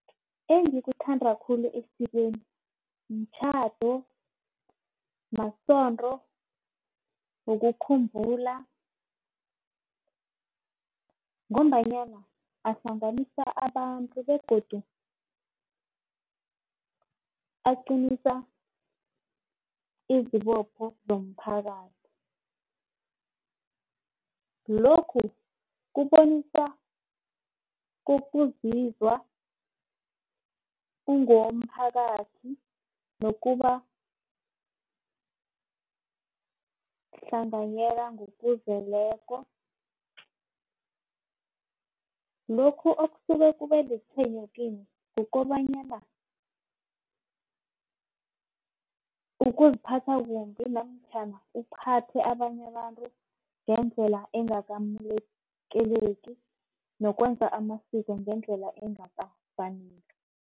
Engikuthanda khulu esikweni mtjhado, masonto ngombanyana ahlanganisa abantu begodu aqinisa izibopho zomphakathi. Lokhu kubonisa ukuzizwa ungowomphakathi nokuba lihlanganyela ngokuzeleko. Lokhu okusuke kube litshwenyo kimi kukobanyana ukuziphatha kumbi namtjhana uphathe abanye abantu ngendlela engakamukeleki, nokwenza amasiko ngendlela engakafaneli.